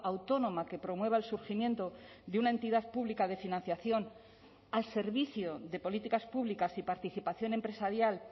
autónoma que promueva el surgimiento de una entidad pública de financiación al servicio de políticas públicas y participación empresarial